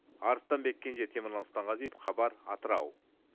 арыстанбек кенже темірлан сұлтанғазиев хабар атырау